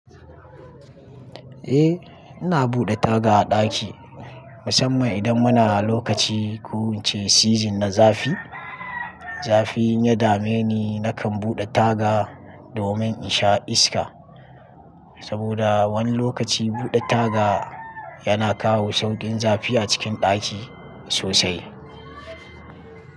Eh ina buɗe taga a ɗaki, musamman idan muna lokaci ko ince season na zafi. Zafi in ya dame ni nakan buɗe taga domin in sha iska. Saboda wani lokaci buɗe taga yana kawo sauƙin zafi a cikin ɗaki sosai.